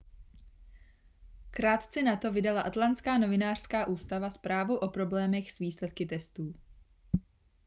krátce nato vydala atlantská novinářská ústava zprávu o problémech s výsledky testů